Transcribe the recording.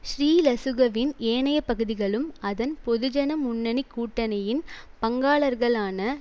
ஸ்ரீலசுக வின் ஏனைய பகுதிகளும் அதன் பொது ஜன முன்னணி கூட்டணியின் பங்காளர்களான